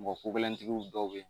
Mɔgɔ ko gɛlɛntigiw dɔw be yen nɔ